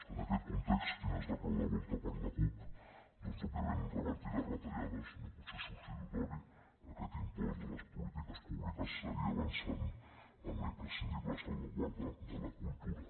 en aquest context quina és la clau de volta per la cup doncs òbviament revertir les retallades no pot ser substitutori aquest impost de les polítiques públiques seguir avançant en la imprescindible salva guarda de la cultura